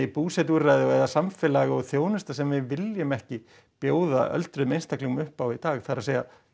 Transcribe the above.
búsetuúrræði og samfélagsþjónusta sem við viljum ekki bjóða öldruðum einstaklingum upp á í dag það er